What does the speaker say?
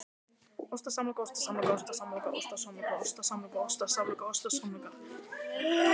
Langvinn og viðvarandi styrking krónunnar getur svipt sum fyrirtæki í útflutningi rekstrargrundvelli.